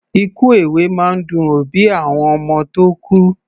Ikú èwe máa ń dun òbí àwọn ọmọ tó kú.